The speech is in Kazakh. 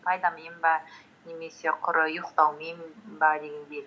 пайдамен бе немесе құры ұйықтаумен бе дегендей